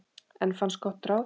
Enn fannst gott ráð.